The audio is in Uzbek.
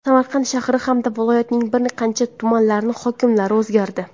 Samarqand shahri hamda viloyatning bir qancha tumanlari hokimlari o‘zgardi.